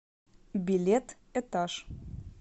билет этаж